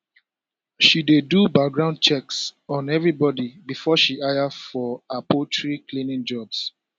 she dey do background checks on everybody before she hire for her poultry cleaning jobs